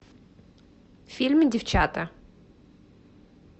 фильм девчата